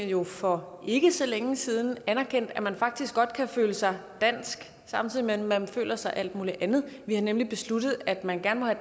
jo for ikke så længe siden anerkendt at man faktisk godt kan føle sig dansk samtidig med at man føler sig alt muligt andet vi har nemlig besluttet at man gerne